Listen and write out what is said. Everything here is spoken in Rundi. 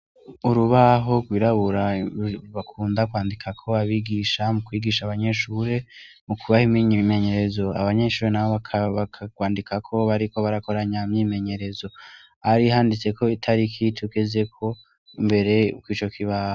Urubaho rwirabura rbakunda kwandika ko babigisha mu kwigisha abanyeshure mu kubaho iminy ibimenyerezo abanyeshure na bo bakaabaarwandikako bariko barakoranyamyimenyerezo ari handitse ko itari ikitukezeko mbere uko ico kibaha.